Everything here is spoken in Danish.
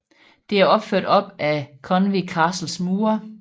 Det er opført op af Conwy Castles mure